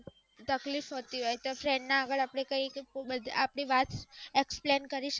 તકલીફ હોતી હોય તો friend આગળ આપણે કહી કે explain શકીએ